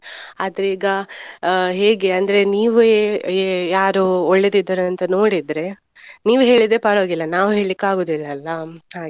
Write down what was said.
ಆದ್ರೆ ಈಗ ಆ ಹೇಗೆ ಅಂದ್ರೆ ನೀವೇ ಏ ಯಾರು ಒಳ್ಳೇದಿದ್ದಾರೆ ಅಂತ ನೋಡಿದ್ರೆ ನೀವ್ ಹೇಳಿದ್ರೆ ಪರವಾಗಿಲ್ಲ ನಾವ್ ಹೇಳ್ಳಿಕಾಗುದಿಲ್ಲ ಅಲ್ಲಾ .